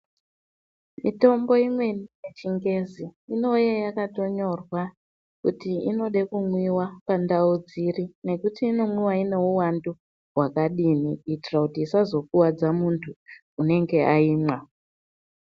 Mitombo imweni yechingezi inouye yakatonyorwa kuti inode kumwiva pandau dziri nekuti inomwiva ineuvandu hwakadini. Kuitira kuti isazokuvadza muntu unenge aimwa.